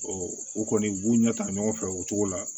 o kɔni u b'u ɲɛ ta ɲɔgɔn fɛ o cogo la